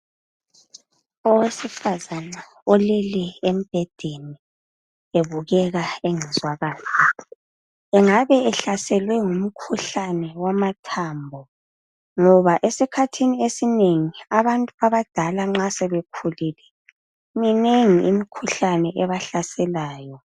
Owesifazana olele embhedeni ubukeka engezwa kahle. Engabe ehlaselwe ngumkhuhlane wamathambo ngoba esikhathini esinengi abantu abadala nxa sebekhulile minengi imikhuhlane ebahlaselayo.